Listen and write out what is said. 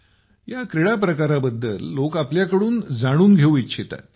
या क्रीडा प्रकाराबद्दल लोक आपल्याकडून जाणून घेऊ इच्छितात